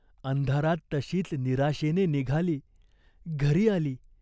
अंधारात तशीच निराशेने निघाली. घरी आली.